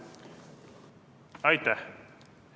Aitäh!